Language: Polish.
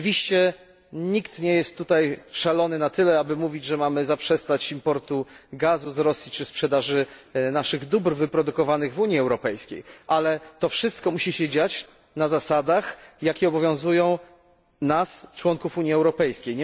Oczywiście nikt nie jest tutaj szalony na tyle, aby mówić, że mamy zaprzestać importu gazu z Rosji czy sprzedaży naszych dóbr wyprodukowanych w Unii Europejskiej, ale to wszystko musi się dziać na zasadach, jakie obowiązują nas, członków Unii Europejskiej.